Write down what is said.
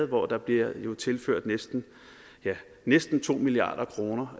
hvor der bliver tilført næsten næsten to milliard kroner